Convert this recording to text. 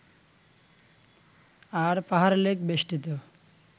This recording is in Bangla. আর পাহাড়-লেক বেষ্টিত